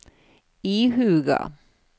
ihuga